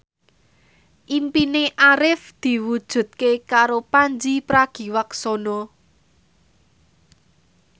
impine Arif diwujudke karo Pandji Pragiwaksono